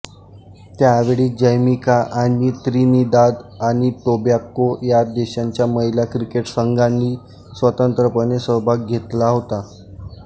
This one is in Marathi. त्यावेळी जमैका आणि त्रिनिदाद आणि टोबॅगो या देशांच्या महिला क्रिकेट संघांनी स्वतंत्रपणे सहभाग घेतला होता